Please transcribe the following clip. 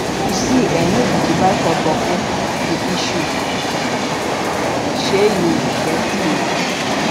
yu see eh no be to buy for bokku be issueshey yu get space